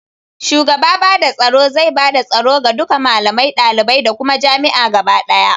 Shugaba bada tsoro zai bada tsoro ga duka malamai, dalibai da kuma jami'a gaba ɗaya